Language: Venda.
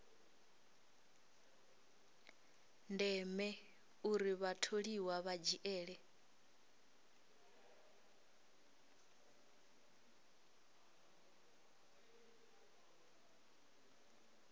ndeme uri vhatholiwa vha dzhiele